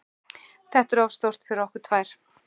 Þetta er of stórt fyrir okkur tvær.